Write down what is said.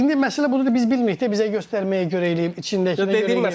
İndi məsələ budur ki, biz bilmirik də, bizə göstərməyə görə eləyib, içindəkinə görə eləyib.